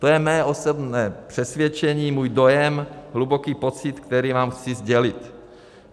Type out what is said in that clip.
To je mé osobní přesvědčení, můj dojem, hluboký pocit, který vám chci sdělit.